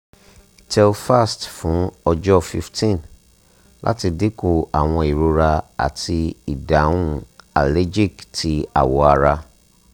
telfast fun ọjọ fifteen lati dinku awọn irora ati idahun allergic ti awọ ara